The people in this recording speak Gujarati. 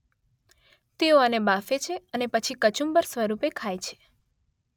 તેઓ આને બાફે છે અને પછી કચુંબર સ્વરૂપે ખાય છે.